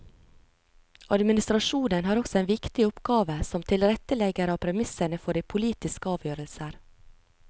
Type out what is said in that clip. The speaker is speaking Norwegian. Administrasjonen har også en viktig oppgave som tilrettelegger av premissene for de politiske avgjørelser.